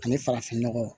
Ani farafin nɔgɔ